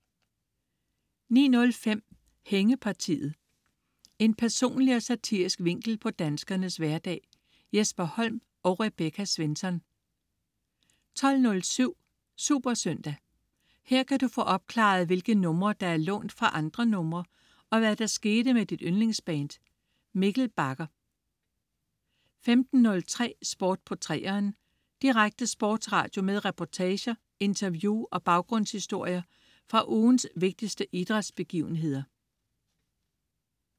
09.05 Hængepartiet. En personlig og satirisk vinkel på danskernes hverdag. Jesper Holm og Rebecca Svensson 12.07 SuperSøndag. Her kan du få opklaret, hvilke numre der er lånt fra andre numre, og hvad der skete med dit yndlingsband. Mikkel Bagger 15.03 Sport på 3'eren. Direkte sportsradio med reportager, interview og baggrundshistorier fra ugens vigtigste idrætsbegivenheder